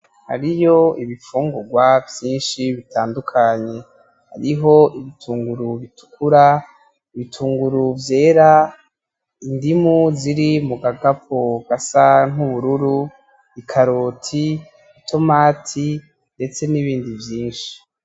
Hariyo ibifungugwa vyinshi bitandukanye, hariho ibitunguru bitukura, ibitunguru vyera, indimu ziri mu gakapo gasa nkubururu, I karoti ,itomati ndetse nibindi vyinshi.